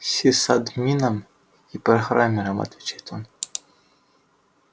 сисадмином и программером отвечает он